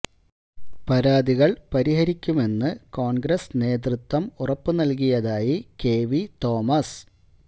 പരാതികള് പരിഹരിക്കുമെന്ന് കോണ്ഗ്രസ് നേതൃത്വം ഉറപ്പ് നല്കിയതായി കെ വി തോമസ്